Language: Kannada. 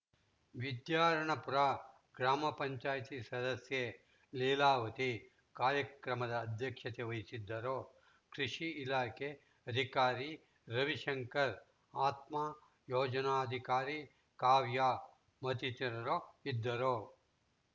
ವಿದ್ಯಾರಣ್ಯಪುರ ಗ್ರಾಮ ಪಂಚಾಯತಿ ಸದಸ್ಯೆ ಲೀಲಾವತಿ ಕಾರ್ಯಕ್ರಮದ ಅಧ್ಯಕ್ಷತೆ ವಹಿಸಿದ್ದರು ಕೃಷಿ ಇಲಾಖೆ ಅಧಿಕಾರಿ ರವಿಶಂಕರ್‌ ಆತ್ಮ ಯೋಜನಾಧಿಕಾರಿ ಕಾವ್ಯ ಮತ್ತಿತರರು ಇದ್ದರು